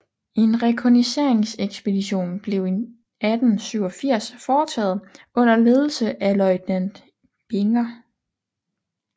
En rekognosceringsekspedition blev i 1887 foretaget under ledelse af løjtnant Binger